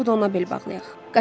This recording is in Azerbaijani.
Yaxşısı budur ona bel bağlayaq.